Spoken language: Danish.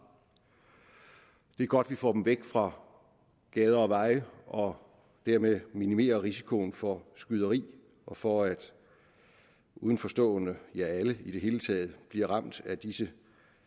det er godt at vi får dem væk fra gader og veje og dermed minimerer risikoen for skyderi og for at udenforstående ja alle i det hele taget bliver ramt af disse